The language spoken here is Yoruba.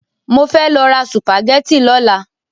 Mo fẹ́ lọ ra sùpàgẹ́tì lọ́la.